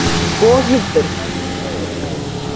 Boghildur, hvernig er veðurspáin?